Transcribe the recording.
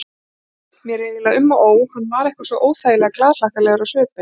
Mér var eiginlega um og ó, hann var eitthvað svo óþægilega glaðhlakkalegur á svipinn.